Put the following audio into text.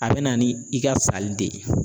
A bɛ na ni i ka sali de ye.